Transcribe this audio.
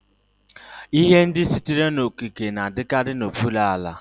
Ihe ndị sitere n'okike na-adịkarị n'okpuru ala.